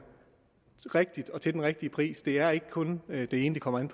rigtigt og til den rigtige pris det er ikke kun det ene det kommer an